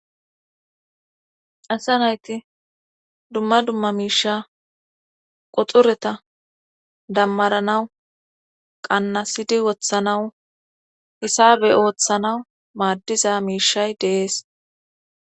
Assa nayti dumma dumma miisha qoxureta dammaranawu qannasidi wothanawu hisabe ooththanawu maaddiza miishay deees.